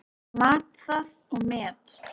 Ég mat það og met.